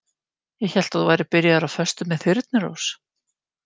Ég hélt að þú værir byrjaður á föstu með Þyrnirós.